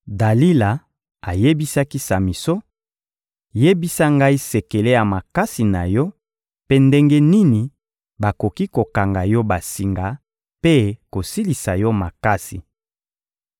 Dalila ayebisaki Samison: — Yebisa ngai sekele ya makasi na yo mpe ndenge nini bakoki kokanga yo basinga mpe kosilisa yo makasi.